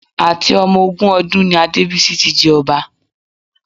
Àti ọmọ ogún ọdún ni Adébísí tí jẹ ọba